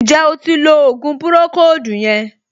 Ǹjẹ́ o ti lo ògùn pùròkóòdù yẹn